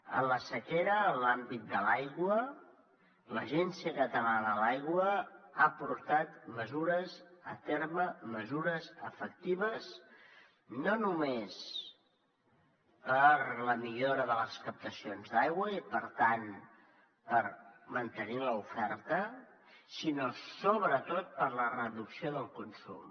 en la sequera en l’àmbit de l’aigua l’agència catalana de l’aigua ha portat a terme mesures efectives no només per a la millora de les captacions d’aigua i per tant per mantenir l’oferta sinó sobretot per a la reducció del consum